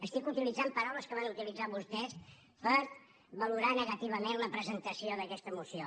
estic utilitzant paraules que van utilitzar vostès per valorar negativament la presentació d’aquesta moció